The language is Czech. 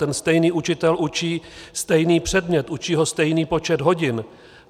Ten stejný učitel učí stejný předmět, učí ho stejný počet hodin.